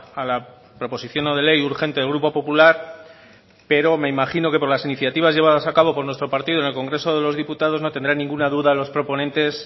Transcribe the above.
a la proposición no de ley urgente del grupo popular pero me imagino que por las iniciativas llevadas a cabo con nuestro partido en el congreso de los diputados no tendrán ninguna duda los proponentes